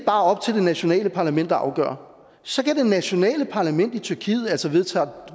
er op til det nationale parlament at afgøre så kan det nationale parlament i tyrkiet altså vedtage at